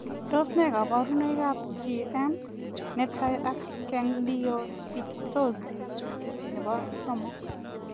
Tos nee kabarunoik ap GM netai ak gangliosidosis nepoo somok?